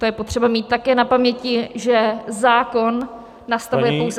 To je potřeba mít také na paměti, že zákon nastavuje pouze -